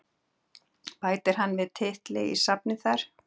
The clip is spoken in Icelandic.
Bætir hann við titli í safnið þar?